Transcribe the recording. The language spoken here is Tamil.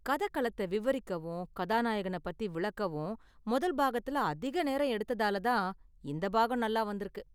கதை களத்த விவரிக்கவும் கதாநாயகனை பத்தி விளக்கவும் முதல் பாகத்துல அதிக நேரம் எடுத்ததால தான் இந்த பாகம் நல்லா வந்திருக்கு.